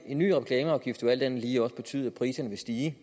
en ny reklameafgift vil alt andet lige også betyde at priserne vil stige